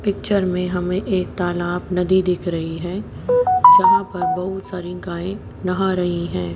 Picture में हमें एक तालाब नदी दिख रही है जहां पर बहुत सारी गाएं नहा रही हैं।